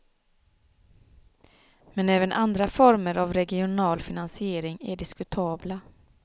Men även andra former av regional finansiering är diskutabla.